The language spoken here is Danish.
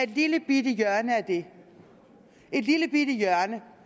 et lillebitte hjørne et lillebitte hjørne